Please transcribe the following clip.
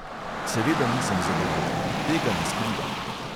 Seveda nisem zadovoljen, tega ne skrivam.